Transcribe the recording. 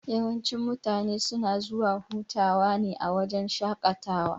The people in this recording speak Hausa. Yawancin mutane suna zuwa hutawa a wajan shaƙatawa.